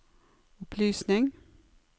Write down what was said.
opplysning